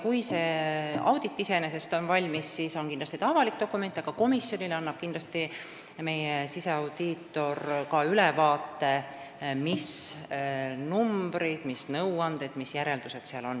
Kui see audit valmis saab, siis on see iseenesest avalik dokument, aga kindlasti annab meie siseaudiitor ka komisjonile ülevaate, mis numbrid, mis nõuanded ja mis järeldused seal on.